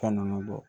Fɛn nunnu bɔ